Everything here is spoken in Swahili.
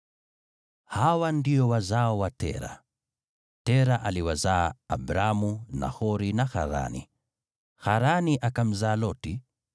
Hawa ndio wazao wa Tera. Tera aliwazaa Abramu, Nahori na Harani. Harani akamzaa Loti.